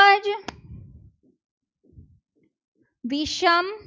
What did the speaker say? વિષમ